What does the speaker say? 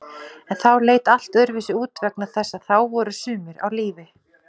En þá leit allt öðruvísi út vegna þess að þá voru sumir á lífi.